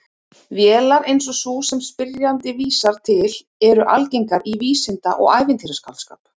Vélar eins og sú sem spyrjandi vísar til eru algengar í vísinda- og ævintýraskáldskap.